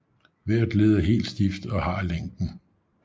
Hvert led er helt stift og har længden